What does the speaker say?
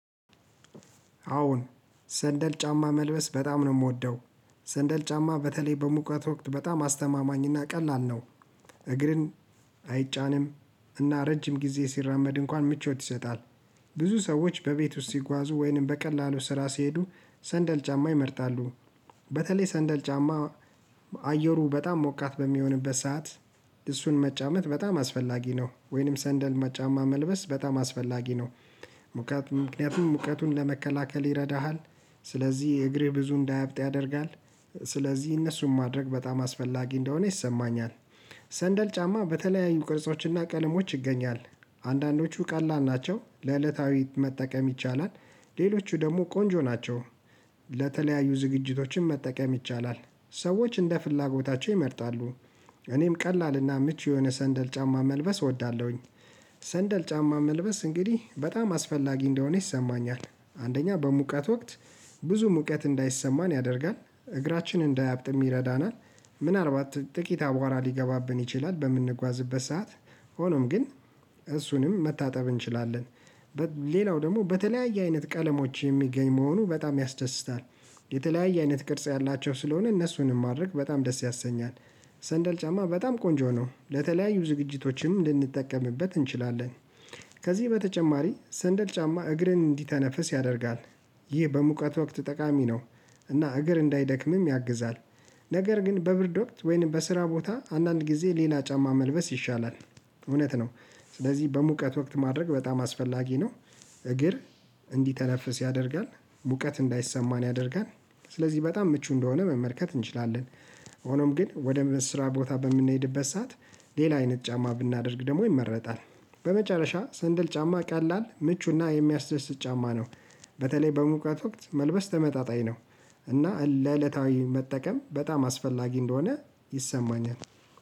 አዎን ሰንደል ጫማ መልበስ በጣም ነው የምወደው ሰንደል ጫማ በተለይ በሙቀት ወቅት በጣም አስተማማኝና ቀላል ነው። እግርን አይጫንም እና ረጅም ጊዜ ሲራመድ እንኳን ምቾት ይሰጣል። ብዙ ሰዎች በቤት ውስጥ ሲጓዙ ወይንም በቀላሉ ስራ ሲሄዱ ሰንደል ጫማ ይመርጣሉ። በተለይ ሰንደል ጫማ አየሩ በጣም ሞቃት በሚሆንበት ሰዓት እሱን መጫመት በጣም አስፈላጊ ነው ወይንም ሰንደል ጫማ መልበስ በጣም አስፈላጊ ነው። ምክንያቱም ሙቀቱን ለመከላከል ይረዳሃል። ስለዚህ እግርህ ብዙ እንዳያብጥ ያደርጋል። ስለዚህ እነሱን ማድረግ በጣም አስፈላጊ እንደሆነ ይሰማኛል። ሰንደል ጫማ በተለያዩ ቅርጾችና ቀለሞች ይገኛል። አንዳንዶቹ ቀላል ናቸው ለዕለታዊ መጠቀም ይቻላል። ሌሎቹ ደግሞ ቆንጆ ናቸው። ለተለያዩ ዝግጅቶችም መጠቀም ይቻላል። ሰዎች እንደ ፍላጎታቸው ይመርጣሉ። እኔም ቀላልና ምች የሆነ ሰንደል ጫማ መልበስ እወዳለሁኝ። ሰንደል ጫማ መልበስ እንግዲህ በጣም አስፈላጊ እንደሆነ ይሰማኛል። አንደኛ በሙቀት ወቅት ብዙ ሙቀት እንዳይሰማን ያደርጋል እግራችን እንዳያብጥም ይረዳናል። ምናልባት ጥቂት አቧራ ሊገባብን ይችላል በምንጓዝበት ሰዓት ሆኖም ግን እሱንም መታጠብ እንችላለን። ሌላው ደግሞ በተለያየ አይነት ቀለሞች የሚገኝ መሆኑ በጣም ያስደስታል። የተለያየ አይነት ቅርጽ ያላቸው ስለሆነ እነሱንም ማድረግ በጣም ደስ ያሰኛል። ሰንደል ጫማ በጣም ቆንጆ ነው ለተለያዩ ዝግጅቶችም ልንጠቀምበት እንችላለን። ከዚህ በተጨማሪ ሰንደል ጫማ እግርን እንዲተነፍስ ያደርጋል። ይህ በሙቀት ወቅት ጠቃሚ ነው። እና እግር እንዳይደክምም ያግዛል። ነገር ግን በብርድ ወቅት ወይንም በስራ ቦታ አንዳንድ ጊዜ ሌላ ጫማ መልበስ ይሻላል። እውነት ነው። ስለዚህ በሙቀት ወቅት ማድረግ በጣም አስፈላጊ ነው። እግር እንዲተነፍስ ያደርጋል ሙቀት እንዳይሰማን ያደርጋል። ስለዚህ በጣም ምቹ እንደሆነ መመልከት እንችላለን። ሆኖም ግን ወደ ስራ ቦታ በምንሄድበት ሰዓት ሌላ አይነት ጫማ ብናደርግ ደግሞ ይመረጣል። በመጨረሻ ስንድል ጫማ ቀላል ምቹና የሚያስደስት ጫማ ነው። በተለይ በሙቀት ወቅት መልበስ ተመጣጣኝ ነው። እና ለዕለታዊ መጠቀም በጣም አስፈላጊ እንደሆነ ይሰማኛል